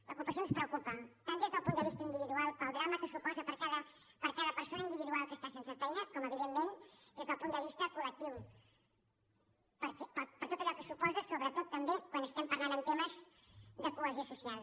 l’ocupació ens preocupa tant des del punt de vista individual per al drama que suposa per a cada persona individual que està sense feina com evidentment des del punt de vista col·lectiu per tot allò que suposa sobretot també quan estem parlant en temes de cohesió social